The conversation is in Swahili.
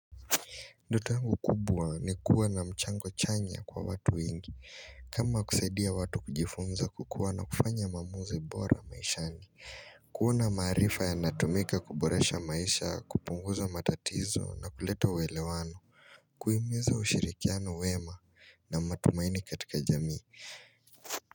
Ndoto yangu kubwa ni kuwa na mchango chanya kwa watu wengi kama kusaidia watu kujifunza kukuwa na kufanya maamuzi bora maishani kuona maarifa ya natumika kuboresha maisha kupunguza matatizo na kuleta uelewano Kuhimiza ushirikiano wema na matumaini katika jamii.